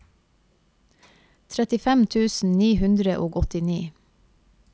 trettifem tusen ni hundre og åttini